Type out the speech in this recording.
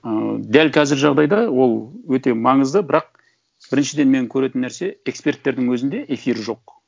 ыыы дәл қазір жағдайда ол өте маңызды бірақ біріншіден мен көретін нәрсе эксперттердің өзінде эфир жоқ